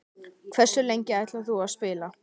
Hversu lengi ætlar þú að spila?